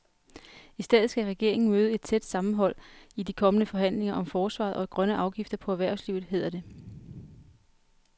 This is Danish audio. I stedet skal regeringen møde et tæt sammenhold i de kommende forhandlinger om forsvaret og grønne afgifter på erhvervslivet, hedder det.